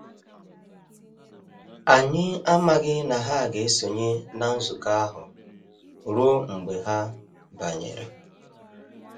Anyị amaghị na ha ga esonye na nzukọ ahụ ruo mgbe ha banyere.